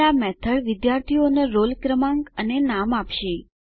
હવે આ મેથડ વિદ્યાર્થીનો રોલ ક્રમાંક અને નામ આપશે